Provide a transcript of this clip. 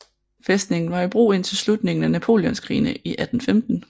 Fæstningen var i brug indtil slutningen af napoleonskrigene i 1815